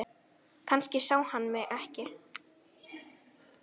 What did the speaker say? Kannski sá hann mig ekki.